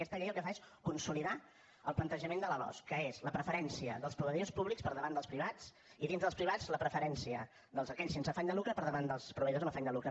aquesta llei el que fa és consolidar el plantejament de la losc que és la preferència pels proveïdors públics per davant dels privats i dintre dels privats la preferència per aquells sense afany de lucre per davant dels proveïdors amb afany de lucre